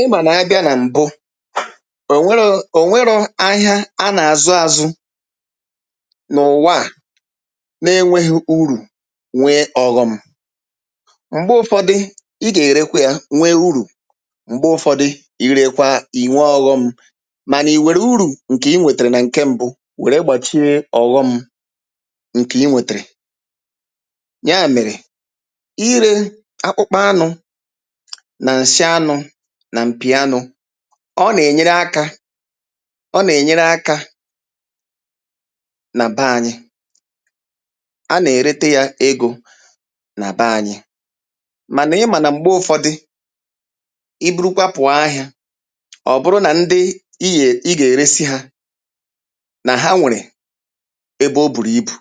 ị mànà a bịa nà m̀bụ à o nwero ò nwẹrọ ahịa a nà àzụ azụ n’ụ̀wa nā ẹnwẹghị urù nwe ọghọm m̀gbẹ̀ ụfọdị ị gà erekwa yā nwẹ urù m̀gbẹ̀ ụfọdị ị rekwa ị̀ nwe ọghọm màna ị̀ nwèrè urù ǹke ị wètèrè nà ǹkẹ mbụ wẹ̀rẹ̀ gbàchie ọ̀ghọm ǹkè ị nwètèrè yà mèrè ị rē akpụkpa anụ̄ nà ǹsị anụ̄ nà m̀pì anụ̄ ọ nà ènyere akā ọ nà ènyere akā nà bẹ anyị a nà erete yā egō nà bẹ anyị mànà ị mà nà m̀gbẹ ụfọdị I burukwa pụọ ahịā ọ̀ bụrụ nà ndị i yè ị gà ẹ̀rẹsị hā nà ha nwèrè ebe o bùrù ibù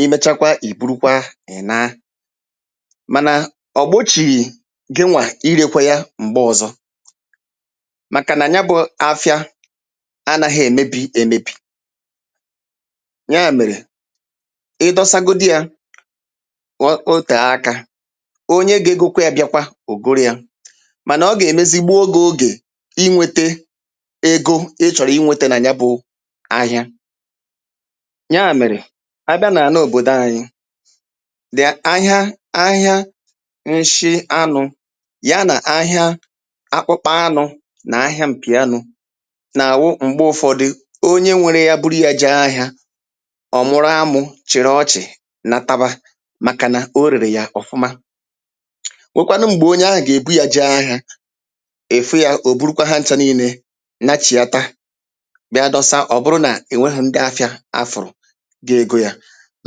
i mẹchakwa i burukwa ị̀ naa mànà ọ̀ gbochìghì gịnwà i rekwe ya m̀gbe ọzọ màkà nà nya bụ̄ afịa a naghi èmebi emebì nyà mèrè ị dọsa godi yā wọ o tee akā onye ga egōkwa yā bịakwa ò goro yā mànà ọ gà èmezi gbuo gị̄ ogè ị nwete ego ị chọ̀rọ̀ ị nwẹtẹ nà ya bụ̄ ahịa nyà mẹ̀rẹ̀ a bịa nà àna òbòdo anyị dìa ahịa ahịa nshị anụ̄ ya nà ahịa akpụkpọ anụ̄ nà ahịa m̀pì anụ̄ nà àwu m̀gbe ụ̀fọdị onye nwẹrẹ ya buru yā jẹẹ ahịā ọ̀ mụ̀rụ amū chị̀rị ọchị̀ nataba màkà nà o rèrè yà ọ̀fụma nwèkwanụ m̀gbè onye ahụ̀ gà èbu ya jee ahịā ị̀ fụ yā ò burukwa hancha nine nachì yata bịa dọsa ọ̀ bụrụ nà è nwehu ndị afịā a fụ̀rụ̀ ga ego yā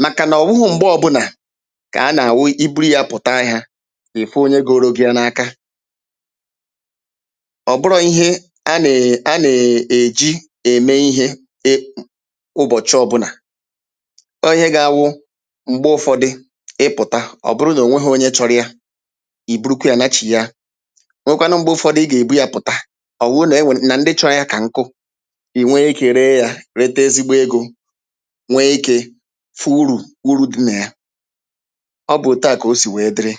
màkà nà ọ wụwụ m̀gbe ọ bụlà kà a nà àwụ i buru ya pụ̀ta ahịā ị̀ fụ onye goro gị ya n’aka ọ bụrọ̄ ihe a nà a nà èji ème ihē e kpụ̀ ụbọ̀chị ọbụnà ọ ihe ga awụ m̀gbe ụ̀fọdị ị pụ̀ta ọ̀ bụrụ nà ò nwehū onye chọrọ ya ị̀ burukwa yā nachìya nwẹkwanụ mgbe ụfọdị ị̀ bu yā pụ̀ta ọ̀ wuu nà enwè nà ǹdị chọ ya kà nkụ ị̀ nwẹrẹ ikē ree yā rete ezigbo egō nwe ikē fụ urù uru du nà ya ọ bụ̄ otu à kà o sī wẹẹ dịrị